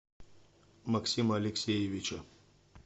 максима алексеевича